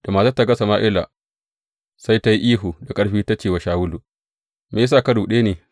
Da matar ta ga Sama’ila sai ta yi ihu da ƙarfi ta ce wa Shawulu, Me ya sa ka ruɗe ni?